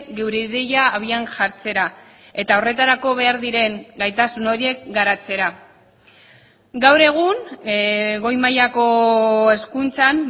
geure ideia abian jartzera eta horretarako behar diren gaitasun horiek garatzera gaur egun goi mailako hezkuntzan